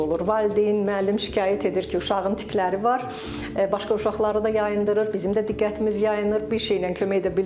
Bu bizim seanslarda da olur, valideyn, müəllim şikayət edir ki, uşağın tikləri var, başqa uşaqları da yayındırır, bizim də diqqətimiz yayınır, bir şeylə kömək edə bilmirik.